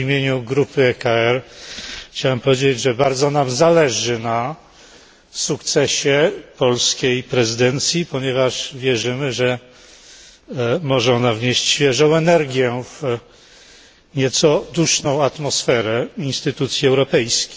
W imieniu grupy ECR chciałem powiedzieć, że bardzo nam zależy na sukcesie polskiej prezydencji, ponieważ wierzymy, że może ona wnieść świeżą energię w nieco duszną atmosferę instytucji europejskich.